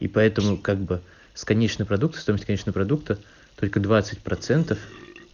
и поэтому как бы с конечного продукта стоимость конечного продукта только двадцать процентов